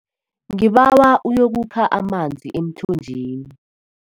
Ngibawa uyokukha amanzi emthonjeni.